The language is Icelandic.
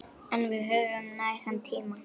En við höfum nægan tíma.